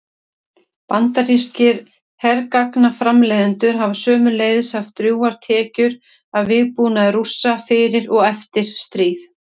Bandarískir hergagnaframleiðendur hafa sömuleiðis haft drjúgar tekjur af vígbúnaði Rússa fyrir og eftir stríð.